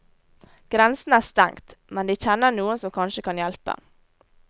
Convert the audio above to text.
Grensen er stengt, men de kjenner noen som kanskje kan hjelpe.